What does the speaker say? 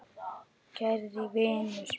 Kæri vinur minn.